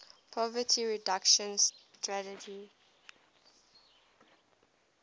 poverty reduction strategy